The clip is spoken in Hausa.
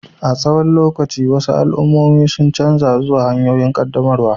A tsawon lokaci, wasu al'ummomi sun canza zuwa wasu hanyoyin ƙaddamarwar